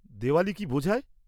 দেওয়ালি কী বোঝায়?